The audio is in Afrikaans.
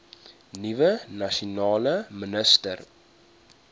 nuwe nasionale minister